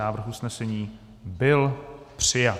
Návrh usnesení byl přijat.